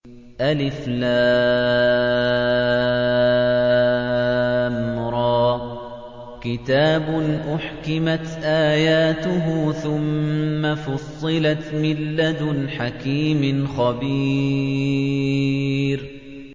الر ۚ كِتَابٌ أُحْكِمَتْ آيَاتُهُ ثُمَّ فُصِّلَتْ مِن لَّدُنْ حَكِيمٍ خَبِيرٍ